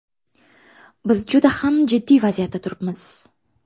Biz juda ham jiddiy vaziyatda turibmiz.